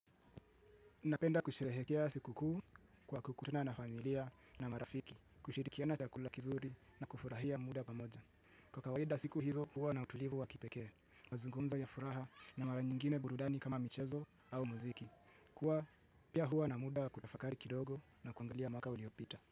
Napenda kusherehekea siku kuu kwa kukutana na familia na marafiki. Kushirikiana chakula kizuri na kufurahia muda pamoja. Kwa kawaida, siku hizo huwa na utulivu wa kipekee. Mazungumzo ya furaha na mara nyingine burudani kama michezo au muziki. Kuwa pia huwa na muda kutafakari kidogo na kuangalia mwaka uliopita.